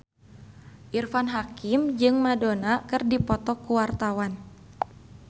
Irfan Hakim jeung Madonna keur dipoto ku wartawan